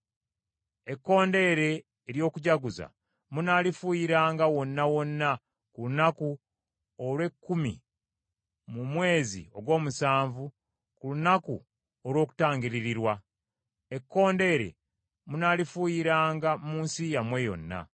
Ekkondeere ery’okujaguza munaalifuuyiranga wonna wonna ku lunaku olw’ekkumi mu mwezi ogw’omusanvu ku Lunaku olw’Okutangiririrwa, ekkondeere munaalifuuyiranga mu nsi yammwe yonna.